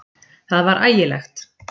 Það var ægilegt!